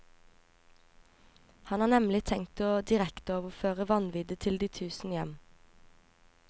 Han har nemlig tenkt å direkteoverføre vanviddet til de tusen hjem.